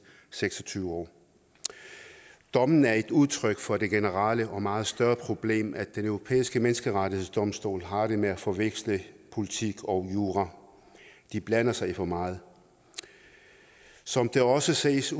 seks og tyve år dommen er et udtryk for det generelle og meget større problem nemlig at den europæiske menneskerettighedsdomstol har det med at forveksle politik og jura de blander sig i for meget som det også ses